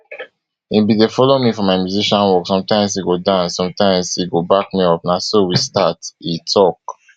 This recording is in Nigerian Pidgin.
e bin dey follow me for my musician work sometimes e go dance sometimes e go back me up na so we start e tok